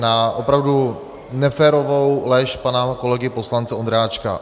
Na opravdu neférovou lež pana kolegy poslance Ondráčka.